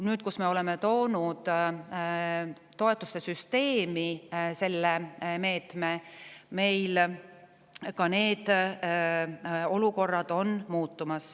Nüüd, kui me oleme toonud toetuste süsteemi selle meetme, muutuvad ka sellised olukorrad.